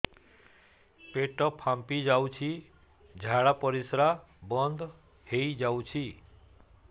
ପେଟ ଫାମ୍ପି ଯାଉଛି ଝାଡା ପରିଶ୍ରା ବନ୍ଦ ହେଇ ଯାଉଛି